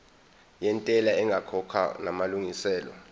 yentela ingakakhokhwa namalungiselo